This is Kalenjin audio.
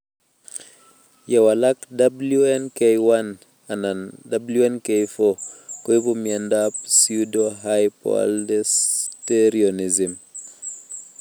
Ye walak WNK1 anan WNK4 koipu miondop pseudohypoaldosteronism